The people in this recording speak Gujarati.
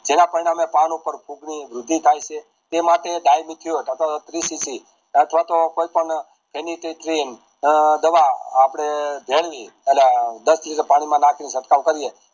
જેના પરિણામે પરનો પેર થાય છે તે માટે અથવા તો કોઈ પણ દવા આપડે જેલ ની અને દસ લિટર પાણી માં નાખીને છટકાવ કરીયે